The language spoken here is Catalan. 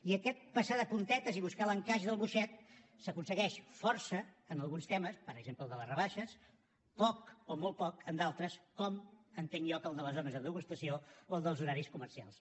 i aquest passar de puntetes i buscar l’encaix del boixet s’aconsegueix força en alguns temes per exemple el de les rebaixes poc o molt poc en d’altres com entenc jo que el de les zones de degustació o el dels horaris comercials